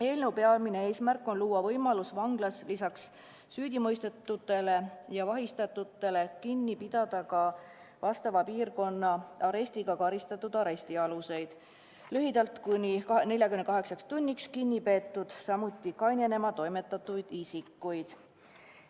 Eelnõu peamine eesmärk on luua võimalus vanglas lisaks süüdimõistetutele ja vahistatutele kinni pidada ka vastava piirkonna arestiga karistatud arestialuseid, lühidalt ehk kuni 48 tunniks kinni peetuid, samuti kainenema toimetatud isikuid.